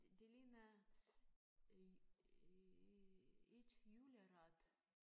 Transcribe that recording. Det det ligner øh et juleret